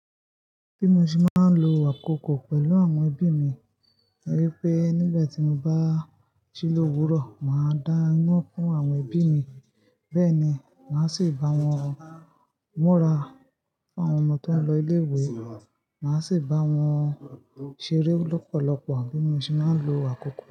Bí mo ṣe má ń lo àkokò pẹ̀lú àwọn ẹbí mi ni wípé nígbàtí mo bá jí lóòwúrọ̀, màá dá ná fún àwọn ẹbí mi. Bẹ́ẹ̀ ni, màá sì bá wọn múra fún àwọn ọmọ tó ń lọ ilé ìwé, màá sì bá wọn ṣeré lọ́pọ̀lọpọ̀. Bí mo ṣe máa ń lo àkokò.